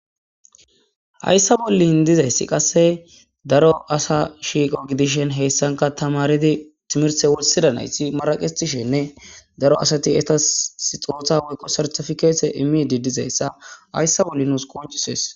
Hayssa bollin dizayssi qasse daro asa shiiqo gidishen heyssanka tamaridi timirse wulsida nayti maraqitishenne daro asati eta sixootha woyqo sertifikeete immidi dizayssa hayssa bolli nuus qoncisees